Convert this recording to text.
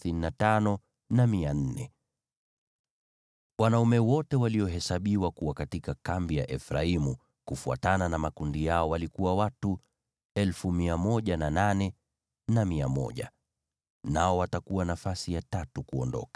Wanaume wote walio katika kambi ya Efraimu kufuatana na makundi yao ni 108,100. Nao watakuwa nafasi ya tatu kuondoka.